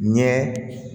Ɲɛ